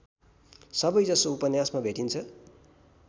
सबैजसो उपन्यासमा भेटिन्छ